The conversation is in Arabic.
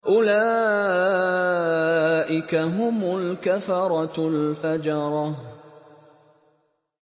أُولَٰئِكَ هُمُ الْكَفَرَةُ الْفَجَرَةُ